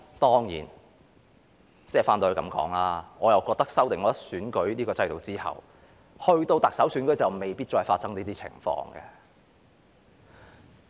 當然，話說回來，修訂選舉制度之後，我覺得到了特首選舉就未必會再發生這種情況。